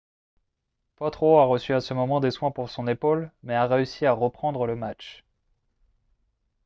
potro a reçu à ce moment des soins pour son épaule mais a réussi à reprendre le match